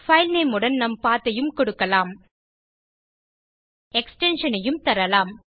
filename உடன் நாம் path ஐயும் கொடுக்கலாம் எக்ஸ்டென்ஷன் ஐயும் தரலாம்